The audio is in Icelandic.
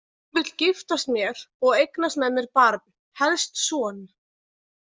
Hann vill giftast mér og eignast með mér barn, helst son.